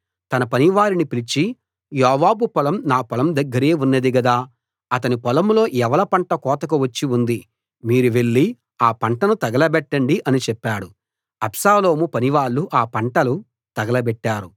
తన పనివారిని పిలిచి యోవాబు పొలం నా పొలం దగ్గరే ఉన్నది గదా అతని పొలంలో యవల పంట కోతకు వచ్చి ఉంది మీరు వెళ్లి ఆ పంటను తగలబెట్టండి అని చెప్పాడు అబ్షాలోము పనివాళ్ళు ఆ పంటలు తగలబెట్టారు